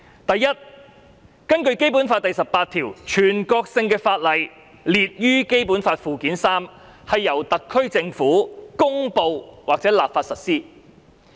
第一，根據《基本法》第十八條，凡列於《基本法》附件三的全國性法律，由特區政府公布或立法實施。